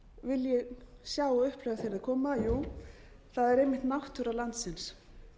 vilji sjá og upplifa þegar þeir koma jú það er einmitt náttúra landsins